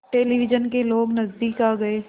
television के लोग नज़दीक आ गए